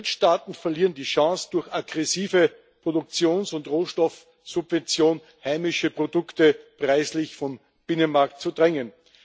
Drittstaaten verlieren die Chance, durch aggressive Produktions und Rohstoffsubvention heimische Produkte preislich vom Binnenmarkt zu drängen.